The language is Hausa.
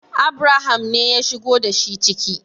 Abraham ne ya shigo da shi ciki